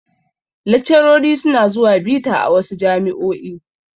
Laccarori su na zuwa bita a wasu jami'o'i